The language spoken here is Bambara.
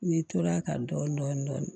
N'i tor'a kan dɔɔnin dɔɔnin